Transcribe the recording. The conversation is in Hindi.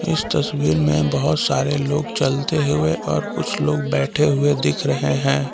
इस तस्वीर में बहुत सारे लोग चलते हुए और कुछ लोग बैठे हुए दिख रहे हैं।